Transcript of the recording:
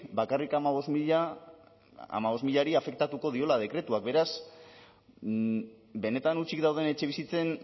bakarrik hamabost milari afektatuko diola dekretuak beraz benetan hutsik dauden etxebizitzen